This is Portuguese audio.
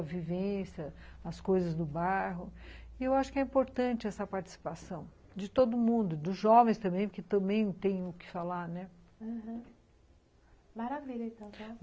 A vivência, as coisas do bairro e eu acho que é importante essa participação de todo mundo, dos jovens também, porque também tem o que falar, né? aham, maravilha então.